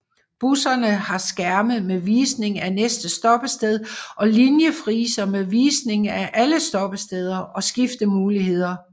Busserne har skærme med visning af næste stoppested og linjefriser med visning af alle stoppesteder og skiftemuligheder